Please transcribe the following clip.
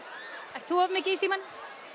ert þú of mikið í símanum